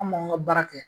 An b'an ka baara kɛ